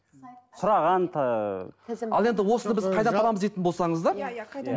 сұраған ыыы ал енді осыны біз қайдан табамыз дейтін болсаңыздар иә иә қайдан